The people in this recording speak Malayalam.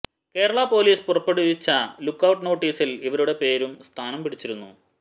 കേരള പോലീസ് പുറപ്പെടുവിച്ച ലുക്ക് ഔട്ട് നോട്ടീസില് ഇവരുടെ പേരും സ്ഥാനം പിടിച്ചിരുന്നു